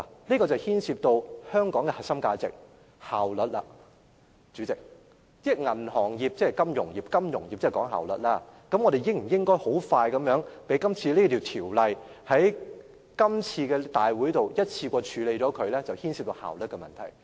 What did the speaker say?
這牽涉到香港的核心價值——效率，代理主席，銀行業即金融業，金融業是講求效率的，而我們應否迅速地在今次會議上，一次過完成處理這項《條例草案》的程序，便是效率的問題。